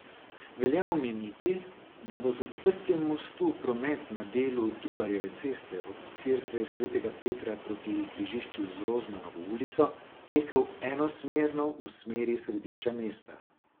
Velja omeniti, da bo z odprtjem mostu promet na delu Trubarjeve ceste od cerkve svetega Petra proti križišču z Rozmanovo ulico tekel enosmerno v smeri središča mesta.